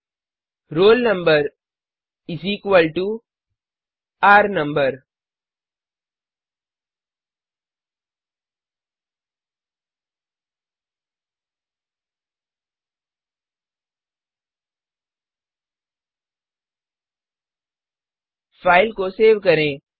फिर roll number इस equal to र नंबर फाइल को सेव करें